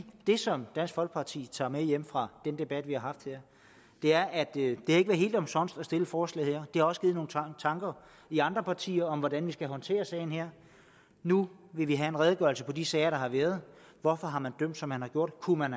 det som dansk folkeparti tager med hjem fra den debat vi har haft her er at det ikke har været helt omsonst at stille forslaget her har også givet nogle tanker i andre partier om hvordan vi skal håndtere sagen her nu vil vi have en redegørelse på de sager der har været hvorfor har man dømt som man har gjort kunne man